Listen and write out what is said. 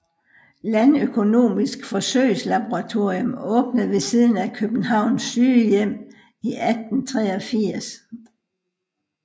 Landøkonomisk Forsøgslaboratorium åbnede ved siden af Københavns Sygehjem i 1883